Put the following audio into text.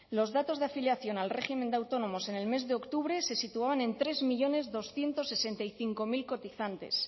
los datos de afiliación al régimen de autónomos en el mes de octubre se situaban en tres millónes doscientos sesenta y cinco mil cotizantes